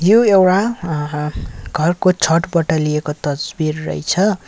यो एउडा अ ह घरको छतबटा लिएको तस्बिर रहेछ।